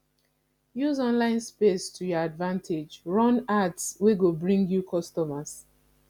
use online space to your advantage run ads wey go bring you customers